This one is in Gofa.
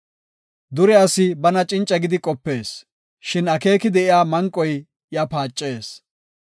Dure asi bana cinca gidi qopees; shin akeeki de7iya manqoy iya paacees.